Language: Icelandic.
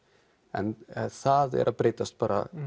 en það er að breytast bara